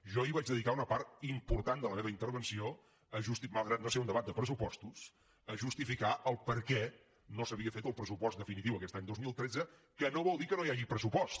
jo ahir vaig dedicar una part important de la meva intervenció malgrat no ser un debat de pressupostos a justificar el perquè no s’havia fet el pressupost definitiu aquest any dos mil tretze que no vol dir que no hi hagi pressupost